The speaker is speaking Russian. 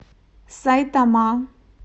сайтама